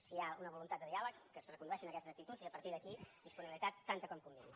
si hi ha una voluntat de diàleg que es recondueixin aquestes actituds i a partir d’aquí disponibilitat tanta com convingui